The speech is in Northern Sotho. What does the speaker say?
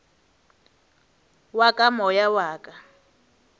wa ka moya wa ka